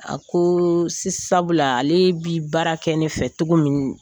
A ko si sabula ale bi baara kɛ ne fɛ cogo min